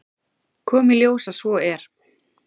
Kom í ljós að svo er.